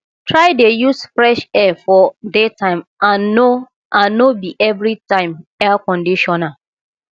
try dey use fresh air for daytime and no and no bi evritime air conditioner